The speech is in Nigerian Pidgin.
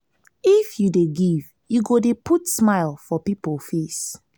if you dey give you go dey put smile for pipo face.